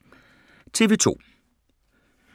TV 2